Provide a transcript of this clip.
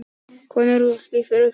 Konur klifu Kerlingareld